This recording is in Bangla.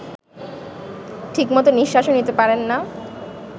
ঠিকমতো নিঃশ্বাসও নিতে পারেন না